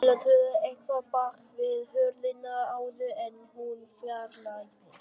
Stella tuðaði eitthvað bak við hurðina áður en hún fjarlægðist.